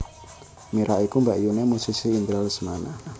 Mira iku mbakyuné musisi Indra Lesmana